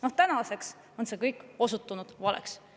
Noh, tänaseks on see kõik osutunud valeks.